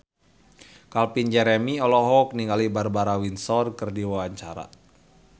Calvin Jeremy olohok ningali Barbara Windsor keur diwawancara